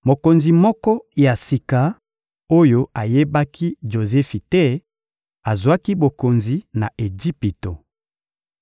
Mokonzi moko ya sika, oyo ayebaki Jozefi te, azwaki bokonzi na Ejipito.